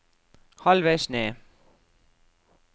halvveis ned